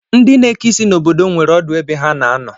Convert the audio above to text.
Ndị na-eke isi n'ahịa obodo m nwere ọdụ ebe ha na-anọ